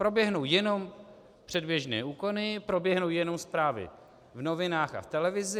Proběhnou jenom předběžné úkony, proběhnou jenom zprávy v novinách a v televizi.